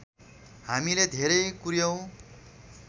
हामीले धेरै कुर्यौँ